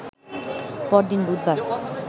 পরদিন বুধবার